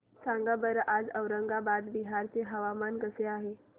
सांगा बरं आज औरंगाबाद बिहार चे हवामान कसे आहे